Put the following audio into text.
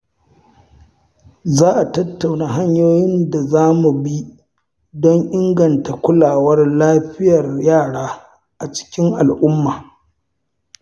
Za a tattauna hanyoyin da za mu bi don inganta kulawar lafiyar yara a cikin al’umma.